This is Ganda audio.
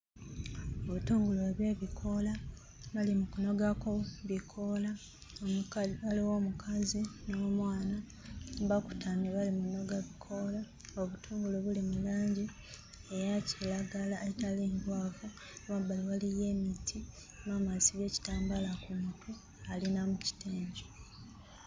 Obutungulu obw'ebikoola bali mu kunogako bikoola ne ka waliwo omukazi n'omwana bakutamye bali mu nnoga bikoola obutungulu buli mu langi eya kiragala etali nkwafu mmabbali waliyo emiti maama asibye ekitambaala ku mutwe ali na mu kitengi.